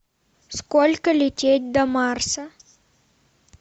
сколько лететь до марса